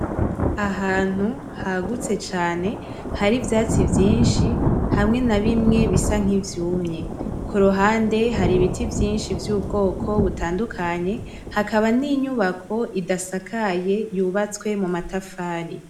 Ahantu hagutse cane hari iivyatsi vyinshi bisa nivyumye, kuruhande hari ibiti vyinshi bitandukanye, hakaba ninyubako zitandukanye zubatse mumatafari